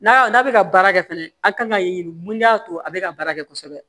N'a n'a bɛ ka baara kɛ fɛnɛ a kan ka ɲini mun y'a to a bɛ ka baara kɛ kosɛbɛ